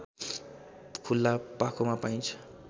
खुला पाखोमा पाइन्छ